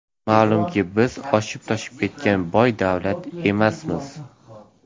Ma’lumki, biz oshib-toshib ketgan boy davlat emasmiz.